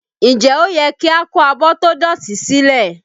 Nje ó yẹ kí a kó abọ́ tó dọ̀tí silẹ?